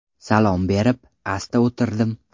Salom berib, asta o‘tirdim.